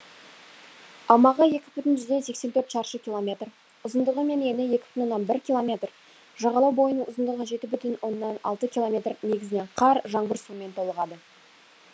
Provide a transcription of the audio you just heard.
аумағы екі бүтін жүзден сексен төрт шаршы километр ұзындығы мен ені екі бүтін оннан бір километр жағалау бойының ұзындығы жеті бүтін оннан алты километр негізінен қар жаңбыр суымен толығады